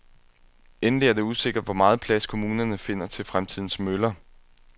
Endelig er det usikkert, hvor meget plads kommunerne finder til fremtidens møller.